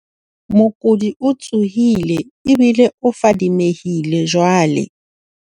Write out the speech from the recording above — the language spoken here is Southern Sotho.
Mokudi o tsohile ebile o fadimehile jwale.